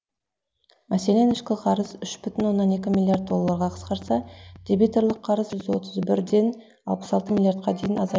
мәселен ішкі қарыз үш бүтін оннан екі миллиард долларға қысқарса дебиторлық қарыз үш жүз отыз бірден алпыс алты миллиардқа дейін азайды